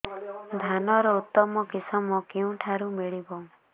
ଧାନର ଉତ୍ତମ କିଶମ କେଉଁଠାରୁ ମିଳିବ